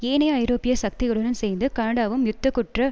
ஏனைய ஐரோப்பிய சக்திகளுடன் சேர்ந்து கனடாவும் யுத்த குற்ற